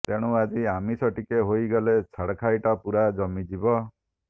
ତେଣୁ ଆଜି ଆମିଷ ଟିକେ ହେଇଗଲେ ଛାଡ଼ଖାଇଟା ପୂରା ଜମିଯିବ